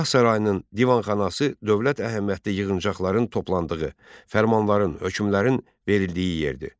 Şah sarayının divanxanası dövlət əhəmiyyətli yığıncaqların toplandığı, fərmanların, hökmlərin verildiyi yerdir.